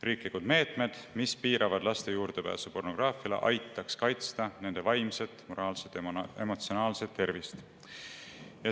Riiklikud meetmed, mis piiravad laste juurdepääsu pornograafiale, aitaks kaitsta nende vaimset, moraalset ja emotsionaalset tervist.